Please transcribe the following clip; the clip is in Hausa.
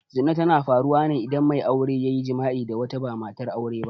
Zina tana faruwa ne idan mai aure ya yi jima'i da wata ba matar aure ba.